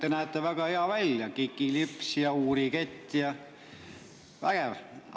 Te näete väga hea välja: kikilips ja uurikett, vägev!